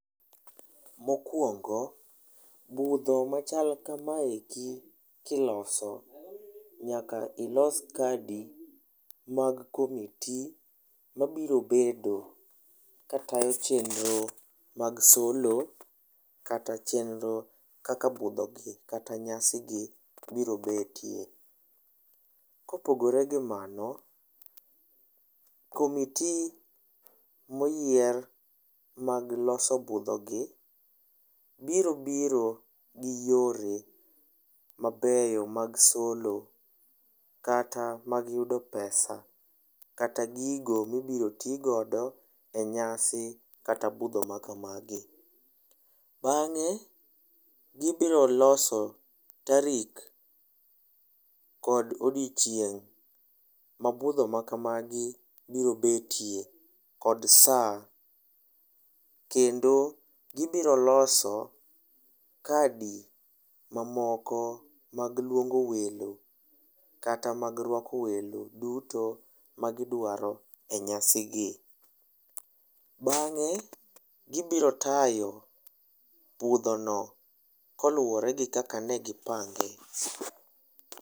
Mokuongo, budho machal kamaeki kiloso, nyaka ilos kadi mag komiti ma biro bedo ka tayo chenro mag solo, kata chenro kaka budho gi kata nyasi gi biro betie. Kopogore gi mano, komiti moyier mag loso budho gi, biro biro gi yore mabeyo mag solo kata mag yudo pesa, kata gigo mibiro ti godo e nyasi kata budho ma kamagi. Bang',e gibiro loso tarik kod odiechieng' ma budho ma kamagi biro betie kod saa. Kendo, gibiro loso kadi mamoko mag luongo welo kata mag rwako welo duto ma gidwaro e nyasi gi. Bang'e, gibiro tayo budho no koluwore gi kaka ne gipange.